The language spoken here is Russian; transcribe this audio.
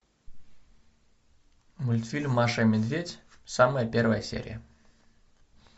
мультфильм маша и медведь самая первая серия